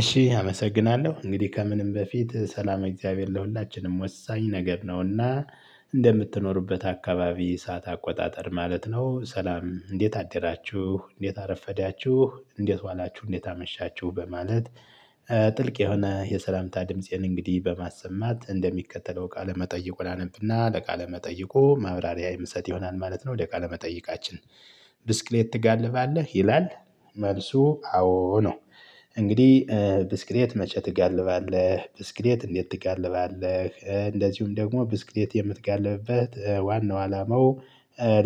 እሺ አመሰግናለሁ እንግዲህ ከምንም በፊት ሰላም የእግዚአብሔር ለሁላችንም ወሳኝ ነገር ነውና። እንደምትኖሩበት አካባቢ ሰዓት አቆጣጠር ማለት ነው። ሰላም እንዴት አደራችሁ እንዴት አረፈዳችሁ እንዴት ዋላችሁ እንዴት አመሻችሁ በማለት። ጥልቅ የሆነ የሰላምታ ድምፄን እንግዲህ በማሰማት እንደሚከተለው ቃለ መጠይቁን አነብና ለቃለ መጠይቆ መብራሪያ የምሰጥ ይሆናል ማለት ነው። ወደ ቃለ መጠይቃችን ብስክሌት ትጋልባለህ ይላል? መልሱ አዎ ነው። እንግዲህ ብስክሌት መቼ ትጋልባለህ ብስክሌት እንዴት ትጋልባለህ እንደዚሁም ደግሞ ብስክሌት የምትጋልብበት ዋናው አላማው?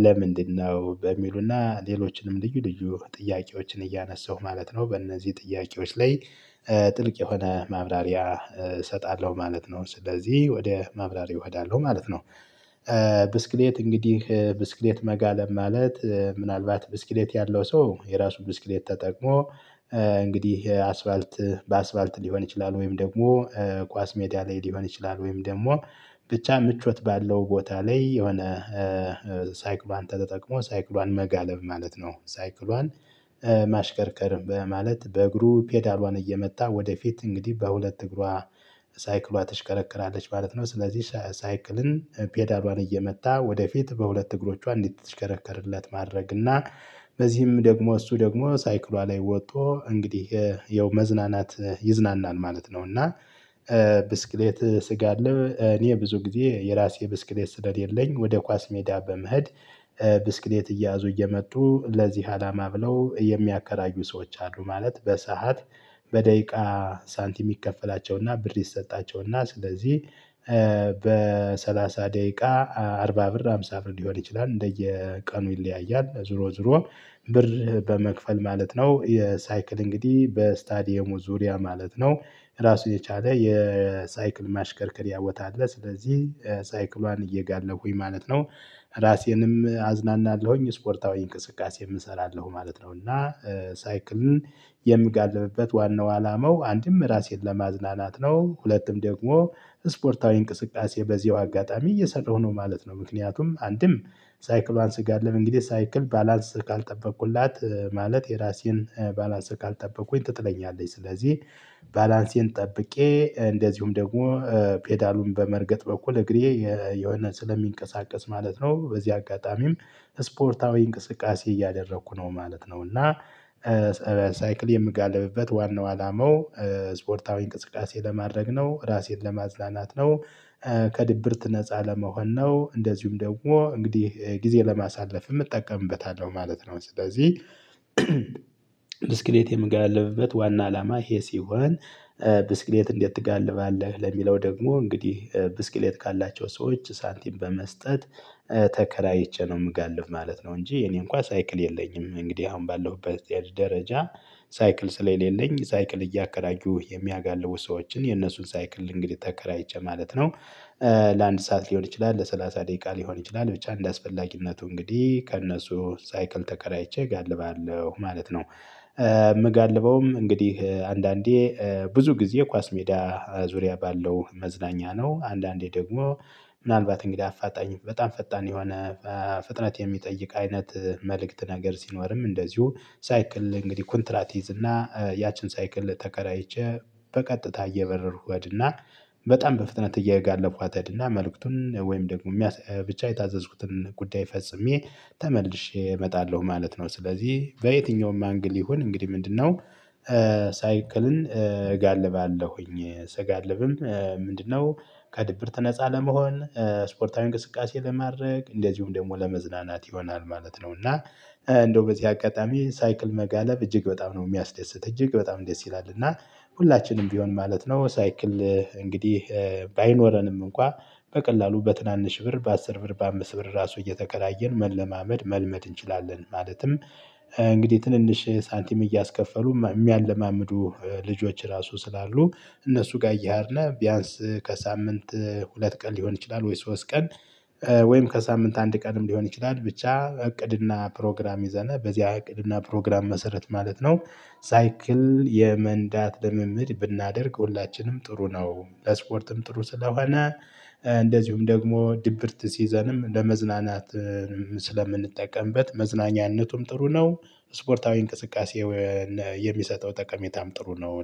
ለምንድነው በሚሉና ሌሎችንም ልዩ ልዩ ጥያቄዎችን እያነሳሁ ማለት ነው። በእነዚህ ጥያቄዎች ላይ። ጥልቅ የሆነ ማብራሪያ እሰጣለሁ ማለት ነው። ስለዚህ ወደ ማብራሪያ እሄዳለሁ ማለት ነው። ብስክሌት እንግዲህ ብስክሌት መጋለብ ማለት ምናልባት ብስክሌት ያለው ሰው የራሱ ብስክሌት ተጠቅሞ። እንግዲህ አስፋልት በአስፋልት ሊሆን ይችላል ወይም ደግሞ ኳስ ሜዳ ላይ ሊሆን ይችላል ወይም ደግሞ ብቻ ምቾት ባለው ቦታ ላይ የሆነ ሳይክሏን ተጠቅሞ ሳይክሏን መጋለብ ማለት ነው። ሳይክሏን ማሽከርከር በማለት በእግሩ ፔዳሏን እየመታ ወደፊት እንግዲህ በሁለት እግሯ ሳይክሏ ትሽከረክራለች ማለት ነው። ስለዚህ ሳይክልን ፔዳሏን እየመታ ወደፊት በሁለት እግሮቿ እንዲተሽከረከርለት ማድረግ እና በዚህም ደግሞ እሱ ደግሞ ሳይክሏ ላይ ወጥቶ እንግዲህ ያው መዝናናት ይዝናናል ማለት ነው። እና ብስክሌት ስጋልብ እኔ ብዙ ጊዜ የራሴ ብስክሌት ስለሌለኝ ወደ ኳስ ሜዳ በመሄድ። ብስክሌት እየያዙ እየመጡ ለዚህ አላማ ብለው የሚያከራዩ ሰዎች አሉ። ማለት በሰአት በደቂቃ ሳንቲም ይከፈላቸውና ብር ይሰጣቸውና ስለዚህ። በሰላሳ ደቂቃ አርባ ብር ሃምሳ ብር ሊሆን ይችላል እንደየቀኑ ይለያያል ዞሮ ዞሮ ብር በመክፈል ማለት ነው። የሳይክል እንግዲህ በስታዲየሙ ዙሪያ ማለት ነው ራሱን የቻለ የሳይክል ማሽከርከሪያ ቦታ አለ። ስለዚህ ሳይክሏን እየጋለፉኝ ማለት ነው። ራሴንም አዝናናለሁኝ ስፖርታዊ እንቅስቃሴ እንሰራለሁ ማለት ነው። እና ሳይክልን የምጋልብበት ዋናው አላማው አንድም ራሴን ለማዝናናት ነው። ሁለትም ደግሞ ስፖርታዊ እንቅስቃሴ በዚሁ አጋጣሚ እየሰራሁ ነው ማለት ነው። ምክንያቱም አንድም ሳይክሏን ስጋልብ እንግዲህ ሳይክል ባላንስ ካልጠበቁላት ማለት የራሴን ባላንስ ካልጠበቁኝ ትጥለኛለች ስለዚህ። ባላንሴን ጠብቄ እንደዚሁም ደግሞ ፔዳሉን በመርገጥ በኩል እግሬ የሆነ ስለሚንቀሳቀስ ማለት ነው። በዚህ አጋጣሚም ስፖርታዊ እንቅስቃሴ እያደረኩ ነው ማለት ነው። እና የምጋልብበት ዋናው አላማው ስፖርታዊ እንቅስቃሴ ለማድረግ ነው ራሴን ለማዝናናት ነው። ከድብርት ነፃ ለመሆን ነው እንደዚሁም ደግሞ እንግዲህ ጊዜ ለማሳለፍ እጠቀምበታለሁ ማለት ነው። ስለዚህ ብስክሌት የምጋልብበት ዋና አላማ ይሄ ሲሆን። ብስክሌት እንዴት ትጋልባለህ? ለሚለው ደግሞ እንግዲህ ብስክሌት ካላቸው ሰዎች ሳንቲም በመስጠት ተከራይቼ ነው የምጋልፍ ማለት ነው። እንጂ እኔ እንኳን ሳይክል የለኝም። እንግዲህ አሁን ባለውበት ደረጃ ሳይክል ስለሌለኝ ሳይክል እያከራዩ የሚያጋልቡ ሰዎችን የነሱን ሳይክል እንግዲህ ተከራይቼ ማለት ነው። ለአንድ ሰዓት ሊሆን ይችላል ለሰላሳ ደቂቃ ሊሆን ይችላል ብቻ እንደአስፈላጊነቱ እንግዲህ ከእነሱ ሳይክል ተከራይቼ እጋልባለሁ ማለት ነው። የምጋልበውም እንግዲህ አንዳንዴ ብዙ ጊዜ ኳስ ሜዳ ዙሪያ ባለው መዝናኛ ነው። አንዳንዴ ደግሞ ምናልባት እንግዳ አፋጣኝ በጣም ፈጣን የሆነ ፍጥነት የሚጠይቅ አይነት መልእክት ነገር ሲኖርም እንደዚሁ ሳይክል እንግዲህ ኮንትራት ይዝና ያችን ሳይክል ተከራይቼ በቀጥታ እየበረርኩ እሄድና። በጣም በፍጥነት እየጋለብኳት እሄድና እና መልእክቱን ወይም ደግሞ ብቻ የታዘዝኩትን ጉዳይ ፈጽሜ ተመልሼ እመጣለሁ ማለት ነው። ስለዚህ በየትኛውም አንግል ይሁን እንግዲህ ምንድነው? ሳይክልን እጋልባለሁኝ ስጋልብም ምንድነው ከድብርት ነፃ ለመሆን ስፖርታዊ እንቅስቃሴ ለማድረግ እንደዚሁም ደግሞ ለመዝናናት ይሆናል ማለት ነው። እና እንደው በዚህ አጋጣሚ ሳይክል መጋለብ እጅግ በጣም ነው የሚያስደስት እጅግ በጣም ደስ ይላል። እና ሁላችንም ቢሆን ማለት ነው። ሳይክል እንግዲህ ባይኖረንም እንኳን በቀላሉ በትናንሽ ብር በአስር ብር በአምስት ብር ራሱ እየተከራየን መለማመድ መልመድ እንችላለን። ማለትም እንግዲህ ትንንሽ ሳንቲም እያስከፈሉ የሚያለማምዱ ልጆች ራሱ ስላሉ እነሱ ጋር እያሄድን ቢያንስ ከሳምንት ሁለት ቀን ሊሆን ይችላል ወይ ሶስት ቀን። ወይም ከሳምንት አንድ ቀንም ሊሆን ይችላል ብቻ እቅድና ፕሮግራም ይዘና በዚህ እቅድና ፕሮግራም መሰረት ማለት ነው። ሳይክል የመንዳት ለምምድ ብናደርግ ሁላችንም ጥሩ ነው። ለስፖርትም ጥሩ ስለሆነ እንደዚሁም ደግሞ ድብርት ሲዘንም ለመዝናናት ስለምንጠቀምበት መዝናኛነቱም ጥሩ ነው። ስፖርታዊ እንቅስቃሴ የሚሰጠው ጠቀሜታም ጥሩ ነው